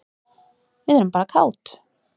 Við erum bara kát.